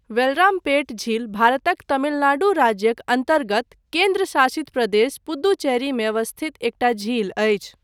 वेलरामपेट झील भारतक तमिलनाडु राज्यक अन्तर्गत केन्द्रशासित प्रदेश पुदुचेरीमे अवस्थित एकटा झील अछि।